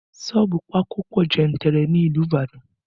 Sọ́ọ̀bù pákó pọ jantirer ní ìlú Ibadan